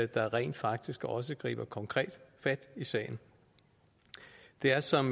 der rent faktisk også griber konkret fat i sagen det er som